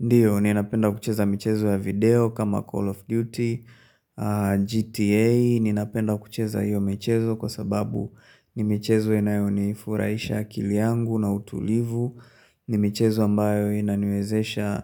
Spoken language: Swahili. Ndiyo, ninapenda kucheza michezo ya video kama Call of Duty, GTA, ninapenda kucheza hiyo michezo kwa sababu ni michezo inayo nifurahisha akili yangu na utulivu, ni michezo ambayo inani wezesha